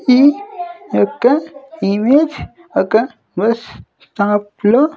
ఈ యొక్క ఇమేజ్ ఒక బస్ స్టాప్ లో --